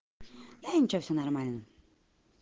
да ничего все нормально